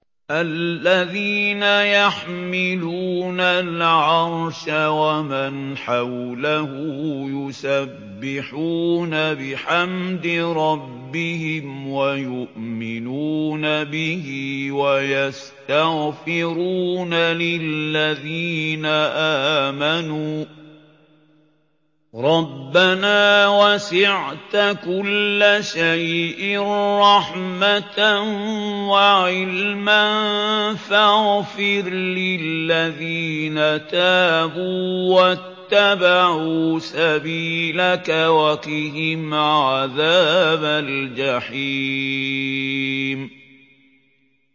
الَّذِينَ يَحْمِلُونَ الْعَرْشَ وَمَنْ حَوْلَهُ يُسَبِّحُونَ بِحَمْدِ رَبِّهِمْ وَيُؤْمِنُونَ بِهِ وَيَسْتَغْفِرُونَ لِلَّذِينَ آمَنُوا رَبَّنَا وَسِعْتَ كُلَّ شَيْءٍ رَّحْمَةً وَعِلْمًا فَاغْفِرْ لِلَّذِينَ تَابُوا وَاتَّبَعُوا سَبِيلَكَ وَقِهِمْ عَذَابَ الْجَحِيمِ